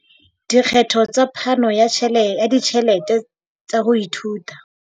Dikgetho tsa phano ya ditjhelete tsa ho ithuta.